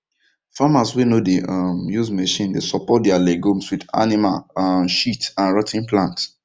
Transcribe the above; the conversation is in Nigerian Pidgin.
farmers wey no dey um use machine dey support their legumes with animal um shit and rot ten plant